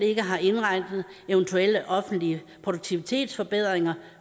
ikke har indregnet eventuelle offentlige produktivitetsforbedringer